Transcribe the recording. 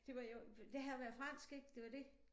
Det var jo det havde været fransk ik det var det